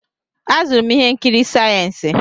Azụrụ m ihe nkiri sayensị.